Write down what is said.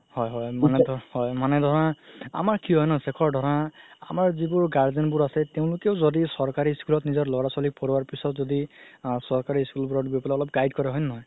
হয় হয় হয় মানে ধৰা আমাৰ কি হয় ন সেখৰ ধৰা আমাৰ যিবোৰ guardian বোৰ আছে তেওঁলোকেও যদি চৰকাৰি school ত পঢ়োৱা পিছত যদি আ চৰকাৰি school বোৰত অলপ guide কৰে হয় নে নহয়